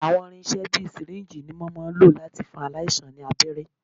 Àwọn irinṣẹ́ ìṣègùn bíi sìríǹjì ni wọ́n máà ń lò láti fún aláìsàn ní abẹ́rẹ́.